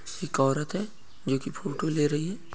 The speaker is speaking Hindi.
एक औरत है जो की फोटो ले रही है।